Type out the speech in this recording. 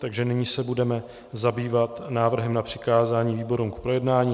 Takže nyní se budeme zabývat návrhem na přikázání výborům k projednání.